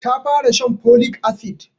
Ta fara shan folic acid